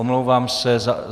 Omlouvám se.